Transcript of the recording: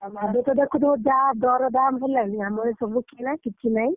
ଏବେତ ଦେଖୁଥିବ ଯାହା ଦର ଦାମ ହେଲାଣି ଆମର ସବୁ କିଣା କିଛି ନାହିଁ।